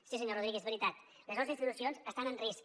sí senyor rodríguez és veritat les nostres institucions estan en risc